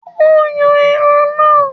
Ó yan ẹran náà.